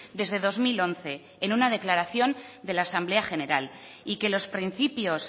desde dos mil once en una declaración de la asamblea general y que los principios